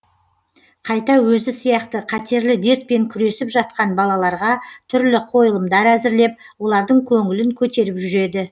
қайта өзі сияқты қатерлі дертпен күресіп жатқан балаларға түрлі қойылымдар әзірлеп олардың көңілін көтеріп жүреді